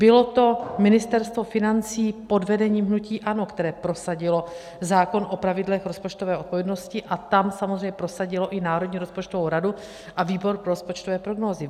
Bylo to Ministerstvo financí pod vedením hnutí ANO, které prosadilo zákon o pravidlech rozpočtové odpovědnosti, a tam samozřejmě prosadilo i Národní rozpočtovou radu a výbor pro rozpočtové prognózy.